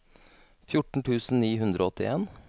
fjorten tusen ni hundre og åttien